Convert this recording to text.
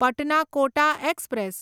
Patna Kota express